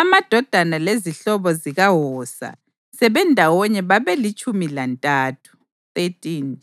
Amadodana lezihlobo zikaHosa sebendawonye babelitshumi lantathu (13).